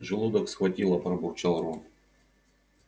желудок схватило пробурчал рон